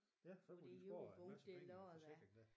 Ja så får de sparet en masse penge æ forsikring der